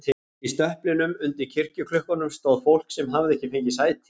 Inn í stöplinum, undir kirkjuklukkunum, stóð fólk sem hafði ekki fengið sæti.